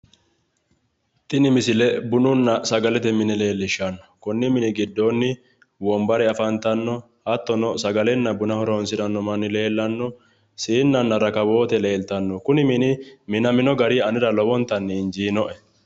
tini misile bununna sagalete mine leellishshanno konni mini giddoonni wombare afantanno hattono sagalenna buna horonsiranno manni leellanno siinnanna rakkawoote leeltanno kuni mini minamino gari anera lowontanni injiinoe.